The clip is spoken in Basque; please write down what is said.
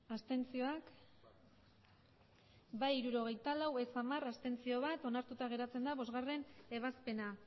abstenzioak emandako botoak hirurogeita hamabost bai hirurogeita lau ez hamar abstentzioak bat onartuta geratzen da bostgarrena ebazpena